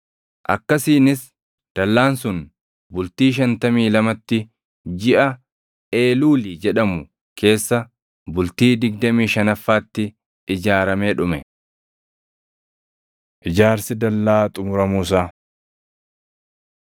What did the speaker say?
Akkasiinis dallaan sun bultii shantamii lamatti, jiʼa Eeluuli jedhamu keessa bultii digdamii shanaffaatti ijaaramee dhume. Ijaarsi Dallaa Xumuramuu Isaa